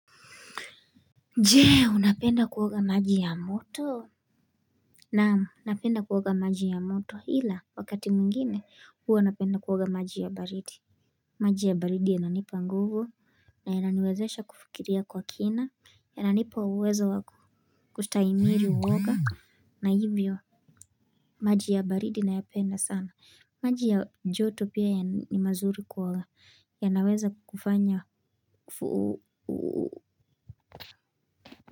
Je unapenda kuoga maji ya moto. Naamu napenda kuoga maji ya moto ila wakati mwingine huwa napenda kuoga maji ya baridi. Maji ya baridi yananipa nguvu na yananiwezesha kufikiria kwa kina. Yananipa uwezo wa kustaimili uwoga na hivyo maji ya baridi nayapenda sana. Maji ya joto pia ya ni mazuri kuoga ya naweza kufanya.